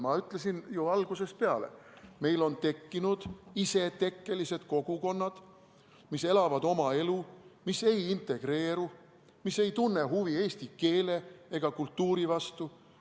Ma olen ju algusest peale öelnud, et meil on tekkinud isetekkelised kogukonnad, mis elavad oma elu, mis ei integreeru, mis ei tunne huvi eesti keele ega kultuuri vastu.